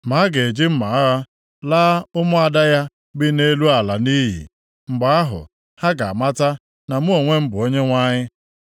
Ma a ga-eji mma agha laa ụmụada ya bi nʼelu ala nʼiyi. Mgbe ahụ, ha ga-amata na mụ onwe m bụ Onyenwe anyị.”